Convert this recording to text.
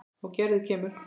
Og Gerður kemur.